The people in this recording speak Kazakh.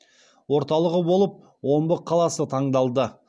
орталығы болып омбы қаласы таңдалды